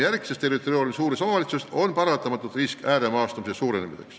Aga praegustes territoriaalselt suurtes omavalitsustes on paratamatult risk, et ääremaastumine suureneb.